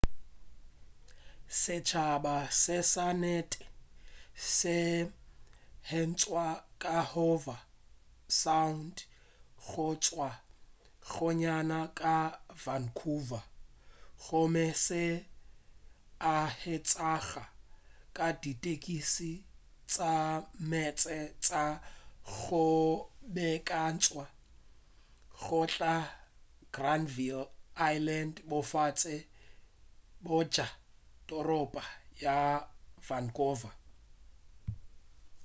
setšhaba se sa nnete se hwetšwa ka howe sound go tšwa gannyane ka vancouver gomme se a hwetšega ka ditekisi tša meetse tša go beakantšwa go tloga granvill island bofase bja toropo ya vancouver